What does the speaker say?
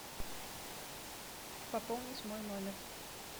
пополнить мой номер